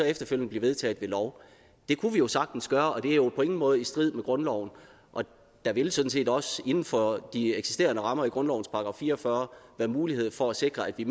efterfølgende blive vedtaget ved lov det kunne vi jo sagtens gøre det er jo på ingen måde i strid med grundloven og der vil sådan set også inden for de eksisterende rammer i grundlovens § fire og fyrre være mulighed for at sikre at vi